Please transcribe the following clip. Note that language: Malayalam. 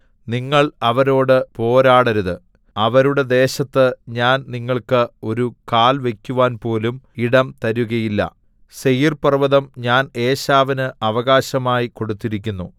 നിങ്ങൾ അവരോട് പോരാടരുത് അവരുടെ ദേശത്ത് ഞാൻ നിങ്ങൾക്ക് ഒരു കാൽ വയ്ക്കുവാൻപോലും ഇടം തരുകയില്ല സേയീർപർവ്വതം ഞാൻ ഏശാവിന് അവകാശമായി കൊടുത്തിരിക്കുന്നു